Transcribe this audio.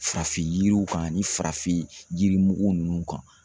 Farafin yiriw kan ani farafin yirimugu ninnu kan.